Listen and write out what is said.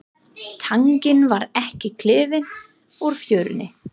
Tanginn varð ekki klifinn úr fjörunni.